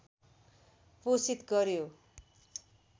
पोषित गर्‍यो